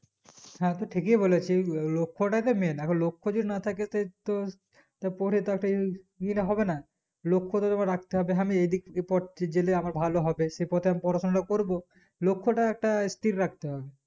হ্যাঁ তু ঠিকই বলেছিস লোলক্ষটা main এখন লক্ষটাই যদি না থাকে সেই তো তা পরে তাকে হবে না লক্ষ রাখতে হবে হ্যাঁ আমি এইদিক দিয়ে পড়ছি জেলে আমার ভালো হবে শেষে ক time আমি পড়াশোনাটা করবো লক্ষটা একটা স্থির রাখতে হবে